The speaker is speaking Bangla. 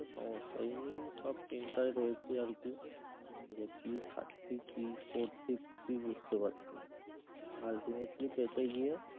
সমস্যা এই নিয়ে সব চিন কাল রয়েছে আর কি যে কি খাচ্ছি কি পরছি কিছুই বুঝতে পাচ্ছি না ultimately পেটে গিয়ে